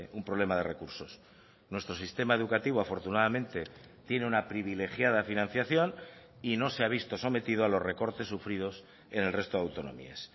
un problema de recursos nuestro sistema educativo afortunadamente tiene una privilegiada financiación y no se ha visto sometido a los recortes sufridos en el resto de autonomías